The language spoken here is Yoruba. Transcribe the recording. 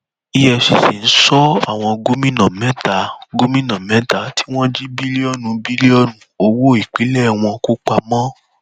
efcc ń sọ àwọn gómìnà mẹta gómìnà mẹta tí wọn jí bílíọnù bílíọnù owó ìpínlẹ wọn kó pamọ